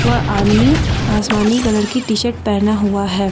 वह आदमी आसमानी कलर की टी शर्ट पहना हुआ है।